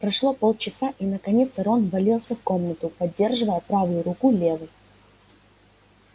прошло полчаса и наконец рон ввалился в комнату поддерживая правую руку левой